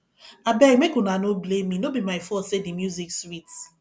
abeg make una no blame me no be my fault say the music sweet